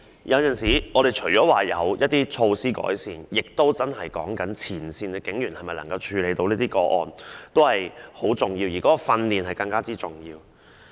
因此，除了要有改善措施外，前線警員是否真的能處理相關個案有時亦很重要，而提供訓練則更為重要。